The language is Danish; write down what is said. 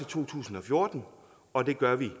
to tusind og fjorten og det gør vi